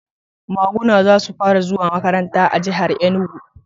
Maguna za su fara zuwa makaranta a jihar Enugu